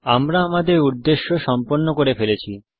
আমরা আমাদের উদ্দেশ্য সম্পন্ন করে ফেলেছি